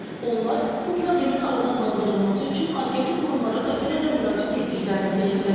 Onlar bu problemin aradan qaldırılması üçün aidiyyatı qurumlara dəfələrlə müraciət etdiklərini deyirlər.